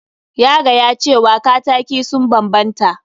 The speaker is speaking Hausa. Ya gaya cewa kataki sun banbanta.